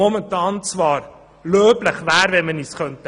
Dieser wäre löblich, wenn wir ihn uns leisten könnten.